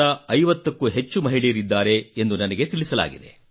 50 ಕ್ಕೂ ಹೆಚ್ಚು ಮಹಿಳೆಯರಿದ್ದಾರೆ ಎಂದು ನನಗೆ ತಿಳಿಸಲಾಗಿದೆ